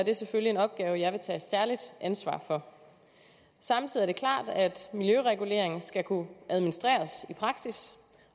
er selvfølgelig en opgave jeg vil tage særligt ansvar for samtidig er det klart at miljøregulering skal kunne administreres i praksis